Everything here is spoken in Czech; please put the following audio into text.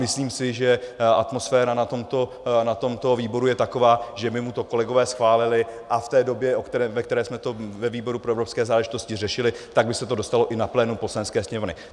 Myslím si, že atmosféra na tomto výboru je taková, že by mu to kolegové schválili, a v té době, ve které jsme to ve výboru pro evropské záležitosti řešili, tak by se to dostalo i na plénum Poslanecké sněmovny.